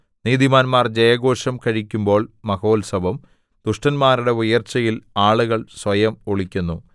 നീതിമാന്മാർ ജയഘോഷം കഴിക്കുമ്പോൾ മഹോത്സവം ദുഷ്ടന്മാരുടെ ഉയർച്ചയിൽ ആളുകൾ സ്വയം ഒളിക്കുന്നു